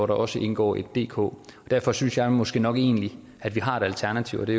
der også indgår et dk derfor synes jeg måske nok egentlig at vi har et alternativ og det